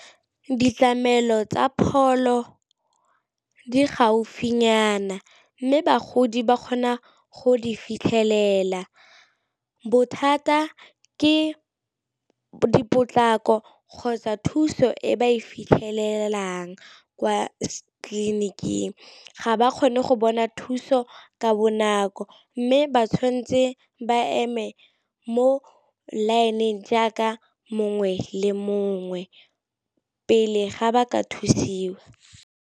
Ditlamelo tsa pholo di gaufinyana mme bagodi ba kgona go di fitlhelela, bothata ke dipotlako kgotsa thuso e ba e fitlhelelang kwa tleliniking ga ba kgone go bona thuso ka bonako, mme ba tshwanetse ba eme mo line-ing jaaka mongwe le mongwe pele ga ba ka thusiwa.